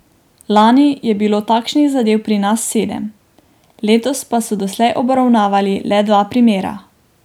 Lani je bilo takšnih zadev pri nas sedem, letos pa so doslej obravnavali le dva primera.